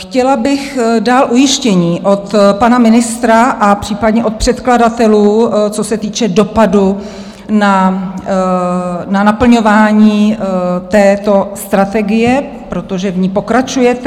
Chtěla bych dál ujištění od pana ministra a případně od předkladatelů, co se týče dopadu na naplňování této strategie, protože v ní pokračujete.